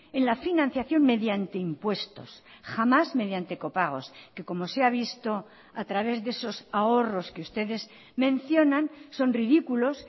en la financiación mediante impuestos jamás mediante copagos que como se ha visto a través de esos ahorros que ustedes mencionan son ridículos